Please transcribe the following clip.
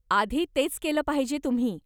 आधी तेच केलं पाहिजे तुम्ही.